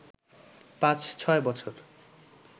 পাঁচ-ছয় বছর